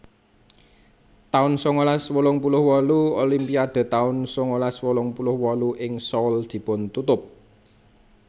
taun sangalas wolung puluh wolu Olimpiade taun sangalas wolung puluh wolu ing Seoul dipun tutup